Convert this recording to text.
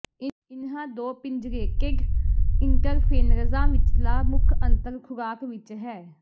ਇਨ੍ਹਾਂ ਦੋ ਪਿੰਜਰੇਟੇਡ ਇੰਟਰਫੇਨਰਜ਼ਾਂ ਵਿਚਲਾ ਮੁੱਖ ਅੰਤਰ ਖੁਰਾਕ ਵਿਚ ਹੈ